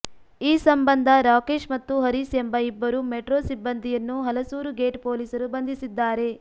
ಈ ಸಂಬಂಧ ರಾಕೇಶ್ ಮತ್ತು ಹರೀಶ್ ಎಂಬ ಇಬ್ಬರು ಮೆಟ್ರೋ ಸಿಬ್ಬಂದಿಯನ್ನು ಹಲಸೂರು ಗೇಟ್ ಪೊಲೀಸರು ಬಂಧಿಸಿದ್ದಾರೆ